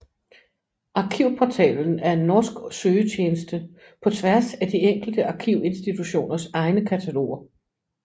Arkivportalen er en norsk søgetjeneste på tværs af de enkelte arkivinstitutioners egne kataloger